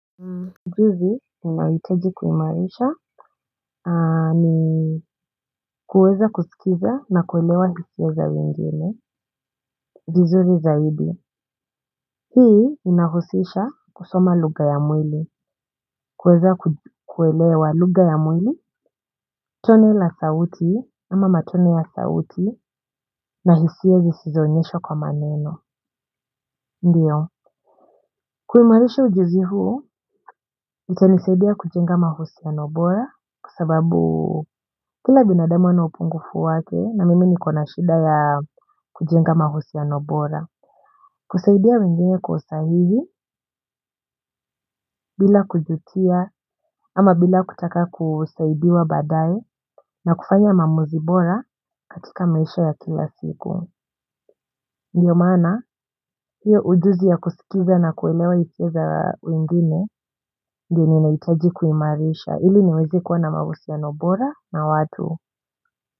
Ujuzi ninahitaji kuimarisha ni kuweza kuskiza na kuelewa hisia za wengine, vizuri zaidi. Hii inahusisha kusoma lugha ya mwili, kuweza kuelewa lugha ya mwili, toni la sauti ama matone ya sauti na hisia zisizoonyeshwa kwa maneno. Ndiyo, kuimarisha ujuzi huu, itanisaidia kujenga mahusiano bora, kwa sababu kila binadamu wana upungufu wake, na mimi ni kona shida ya kujenga mahusiano bora. Kusaidia wengine kwa usahihi, bila kujutia, ama bila kutaka kusaidiwa badae, na kufanya maamuzi bora, katika maisha ya kila siku. Ndiyo maana, hiyo ujuzi ya kusikiza na kuelewa hisia za mwingine, ndio nahitaji kuimarisha. Ili niweze kuwa na mahusiano bora na watu.